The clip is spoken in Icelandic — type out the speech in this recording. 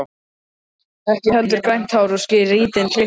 Ekki heldur grænt hár og skrýtin klipping.